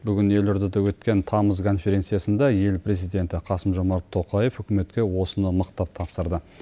бүгін елордада өткен тамыз конференциясында ел президенті қасым жомарт тоқаев үкіметке осыны мықтап тапсырды